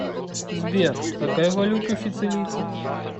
сбер какая валюта у сицилийцев